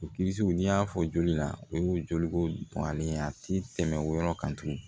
O n'i y'a fɔ joli la o ye joli ko bonyalen ye a tɛ tɛmɛ o yɔrɔ kan tugun